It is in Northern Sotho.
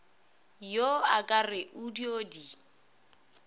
yo akere o dio di